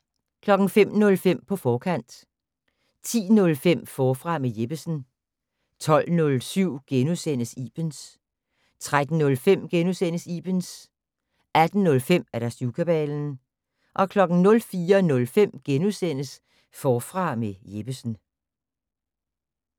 05:05: På forkant 10:05: Forfra med Jeppesen 12:07: Ibens * 13:05: Ibens * 18:05: Syvkabalen 04:05: Forfra med Jeppesen *